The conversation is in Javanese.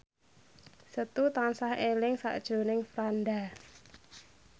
Setu tansah eling sakjroning Franda